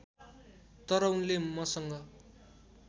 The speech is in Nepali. तर उनले मसँग